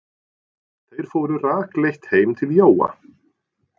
Þeir fóru rakleitt heim til Jóa.